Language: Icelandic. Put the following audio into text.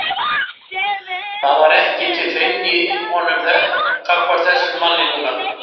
Það var ekki til feimni í honum gagnvart þessum manni núna.